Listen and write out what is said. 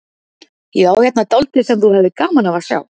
Ég á hérna dálítið sem þú hefðir gaman af að sjá.